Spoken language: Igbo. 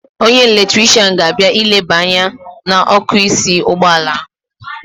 Onye eletrishian ga-abịa ileba anya n'ọ́kụ́ísí ụgbọala ahụ.